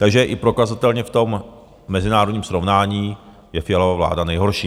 Takže i prokazatelně v tom mezinárodním srovnání je Fialova vláda nejhorší.